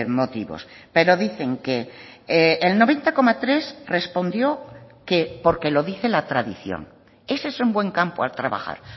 motivos pero dicen que el noventa coma tres respondió que porque lo dice la tradición ese es un buen campo a trabajar